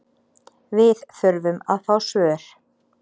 Við þurfum að fá svör